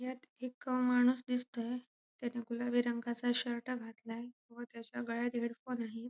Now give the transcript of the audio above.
यात एक माणूस दिसतोय त्याने गुलाबी रंगाचा शर्ट घातलाय व त्याच्या गळ्यात हेड फोन आहे.